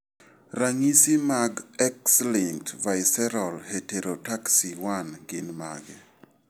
Ranyi mag X-linked visceral heterotaxy 1 gin mage?